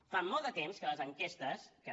fa molt de temps que les enquestes que no